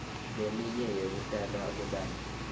leminye yekutalwa kwebantfu